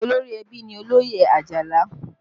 Olórí ẹbí ni Oloye Ajala